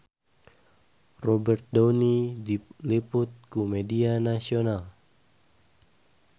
Robert Downey diliput ku media nasional